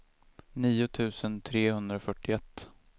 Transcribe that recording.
nio tusen trehundrafyrtioett